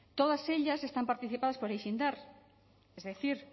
todas ellas están participadas por aixeindar es decir